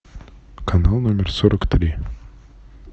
канал номер сорок три